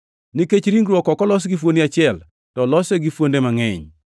Nikech ringruok ok olos gi fuoni achiel, to olose gi fuonde mangʼeny.